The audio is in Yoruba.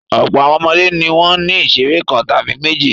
Ọ̀pọ̀ àwọn ọmọdé ni wọ́n ní ìṣeré kan tàbí méjì.